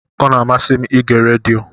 Ọ na-amasị m ige redio.